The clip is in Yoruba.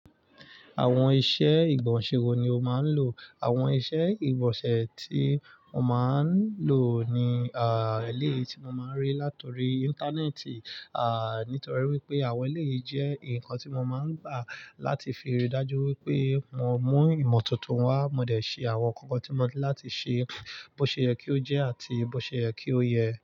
Àwọn iṣẹ́ ìgbọ̀nsẹ̀ wo ni o máa ń lò? Àwọn iṣẹ́ ìgbọ̀nsẹ̀ tí mo máa ń lò ni eleyii ti mo máa ń rí látọ̀rí Íńtánẹ́ẹ̀tì, nítorí wípé àwọn eléyii jẹ́ ǹnkan tí mo máa ń gbà láti fi rí i dájú wípé mo mú ìmọ̀ tuntun wá, mo dẹ̀ ṣẹ àwọn nnkankan tí mo ní láti ṣẹ, bó ṣe yẹ kí ó jẹ́ àti bó ṣe yẹ kí ó yẹ.